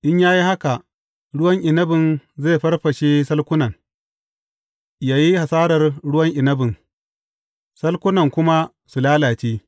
In ya yi haka, ruwan inabin zai farfashe salkunan, yă yi hasarar ruwan inabin, salkunan kuma su lalace.